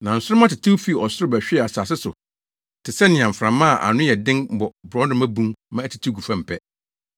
Na nsoromma tetew fii soro bɛhwee asase so te sɛnea mframa a ano yɛ den bɔ borɔdɔma bun ma ɛtetew gu fam pɛ.